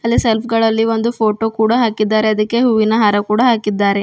ಅಲ್ಲೇ ಸೆಲ್ಫ್ಗ ಳಲ್ಲಿ ಒಂದು ಫೋಟೊ ಕೂಡ ಹಾಕಿದ್ದಾರೆ ಅದಿಕ್ಕೆ ಹೂವಿನ ಹಾರ ಕೂಡ ಹಾಕಿದ್ದಾರೆ.